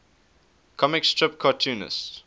comic strip cartoonists